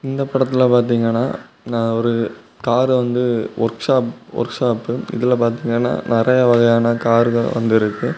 இந்த படத்துல பாத்திங்கனா நா ஒரு கார் வந்து ஒர்க் ஷாப் ஒர்க் ஷாப்பு இதுல பாத்திங்கனா நெறயா வகையான கார்க வந்துருக்கு.